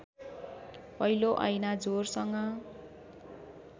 पहिलो ऐना जोरसँग